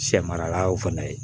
Sɛ maralaw fɛnɛ ye